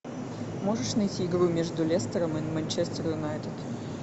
можешь найти игру между лестером и манчестер юнайтед